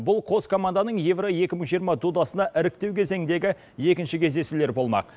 бұл қос команданың евро екі мың жиырма додасына іріктеу кезеңіндегі екінші кездесулер болмақ